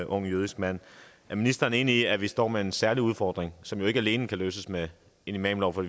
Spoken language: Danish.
ung jødisk mand er ministeren enig i at vi står med en særlig udfordring som jo ikke alene kan løses med en imamlov for